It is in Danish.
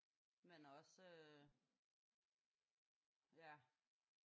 Men også øh